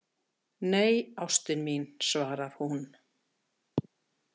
Nei, ástin mín, svarar hún.